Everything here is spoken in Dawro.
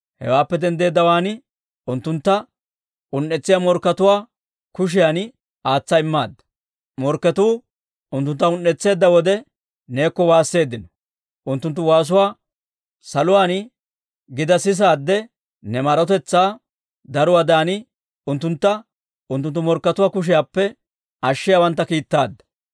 Hewaappe denddeeddawaan unttuntta un"etsiyaa morkkatuwaa kushiyan aatsa immaadda; morkketuu unttuntta un"etseedda wode neekko waasseeddino. Unttunttu waasuwaa saluwaan gida sisaadde ne maarotetsaa daruwaadan, unttuntta unttunttu morkkatuwaa kushiyaappe ashshiyaawantta kiittaadda.